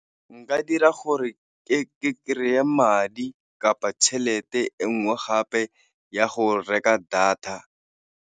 Nka dira gore ke kry-e madi kapa tšhelete e nngwe gape ya go reka data.